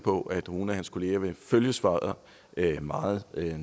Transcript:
på at nogle af hans kolleger vil følge svaret meget